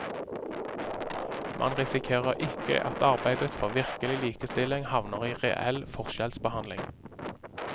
Man risikerer ikke at arbeidet for virkelig likestilling havner i reell forskjellsbehandling.